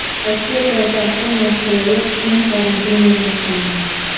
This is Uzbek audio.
Rossiya poytaxti Moskvada qisman karantin e’lon qilindi.